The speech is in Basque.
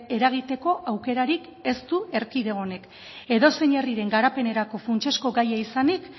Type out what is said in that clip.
eragiteko aukerarik ez du erkidego honek edozein herriren garapenerako funtsezko gaia izanik